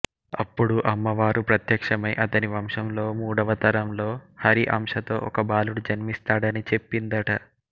అప్పుడు అమ్మవారు ప్రత్యక్షమై అతని వంశంలో మూడవతరంలో హరి అంశతో ఒకబాలుడు జన్మిస్తాడని చెప్పిందట